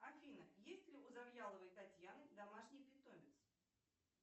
афина есть ли у завьяловой татьяны домашний питомец